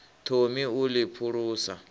thomi ha u ḽi phulusa